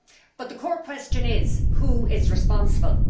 But the core question is who is responsible?